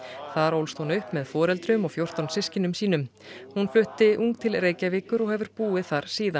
þar ólst hún upp með foreldrum og fjórtán systkinum sínum hún flutti ung til Reykjavíkur og hefur búið þar síðan